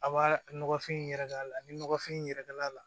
A b'a nɔgɔfin yɛrɛ kala ni nɔgɔfin in yɛrɛkɛl'a la